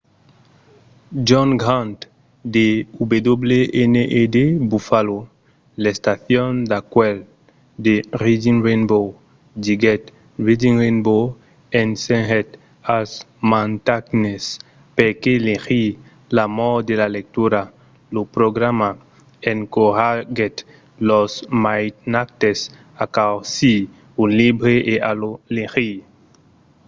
john grant de wned buffalo l'estacion d'acuèlh de reading rainbow diguèt: reading rainbow ensenhèt als mainatges perqué legir,... l'amor de la lectura — [lo programa] encoratgèt los mainatges a causir un libre e a lo legir.